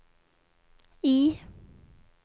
I